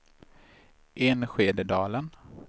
Enskededalen